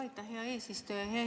Aitäh, hea eesistuja!